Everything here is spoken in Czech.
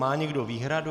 Má někdo výhradu?